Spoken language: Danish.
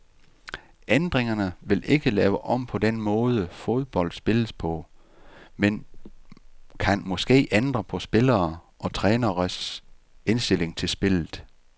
Ændringerne vil ikke lave om på den måde, fodbold spilles på, men kan måske ændre på spillere og træneres indstilling til spillet.